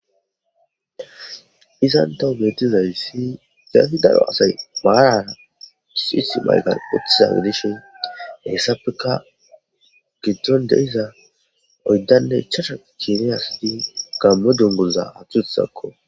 izantohu metizay si gaasi daro asay baarara suith maygan uthiza gedishe hessapeka giton dehiza oyddanne chasha kineyasidi gammo dongoza atuthakko